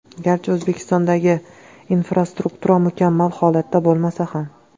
Garchi O‘zbekistondagi infrastruktura mukammal holatda bo‘lmasa ham.